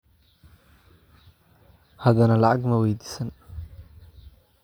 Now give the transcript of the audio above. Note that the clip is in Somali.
Haddana lacag ma weydiisan.